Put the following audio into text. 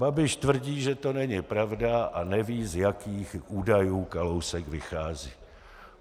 Babiš tvrdí, že to není pravda, a neví, z jakých údajů Kalousek vychází.